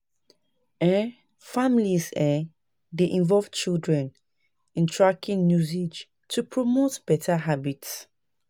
um Families um dey involve children in tracking usage to promote beta habits.